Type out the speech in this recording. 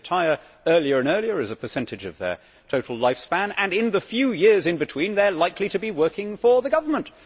They retire earlier and earlier as a percentage of their total lifespan and, in the few years in between, they are likely to be working for the government.